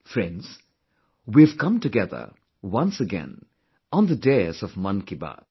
Friends, we have come together, once again, on the dais of Mann Ki Baat